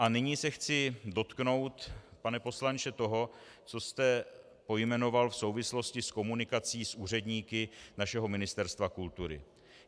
A nyní se chci dotknout, pane poslanče, toho, co jste pojmenoval v souvislosti s komunikací s úředníky našeho Ministerstva kultury.